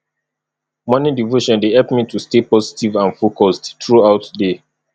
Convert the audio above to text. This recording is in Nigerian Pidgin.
morning devotion dey help me to stay positive and focused throughout day